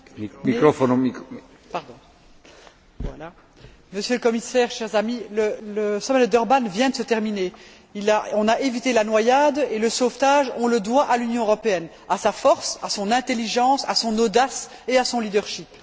Monsieur le Président, Monsieur le Commissaire, chers amis, le sommet de Durban vient de se terminer. On a évité la noyade et le sauvetage, on le doit à l'Union européenne, à sa force, à son intelligence, à son audace et à son leadership.